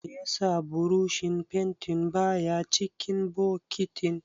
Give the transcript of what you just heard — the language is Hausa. Meye yasa burushin fentin baya cikin bokitin?